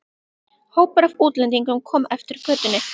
Hópur af útlendingum kom eftir götunni.